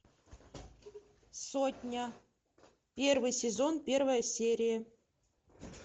сотня первый сезон первая серия